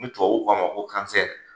Ni tubabu k'a ma ko .